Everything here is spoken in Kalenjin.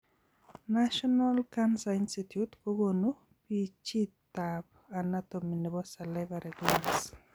National cnacer institute kokonu pichit ab anatomy nebo salivary glands